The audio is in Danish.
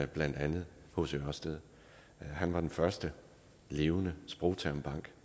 blandt andet hc ørsted han var den første levende sprogtermbank